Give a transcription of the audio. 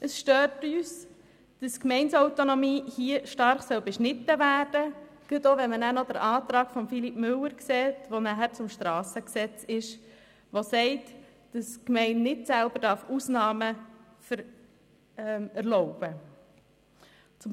Es stört uns, dass die Gemeindeautonomie hier beschnitten werden soll, insbesondere wenn man noch den Antrag von Philippe Müller zum Strassengesetz (SG) anschaut, der verlangt, dass die Gemeinden nicht selber Ausnahmen erlauben dürfen.